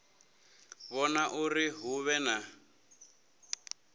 vhona uri hu vhe na